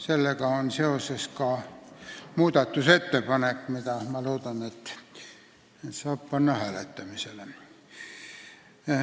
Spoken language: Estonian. Sellega on seotud ka muudatusettepanek, mille me tahame panna hääletamisele.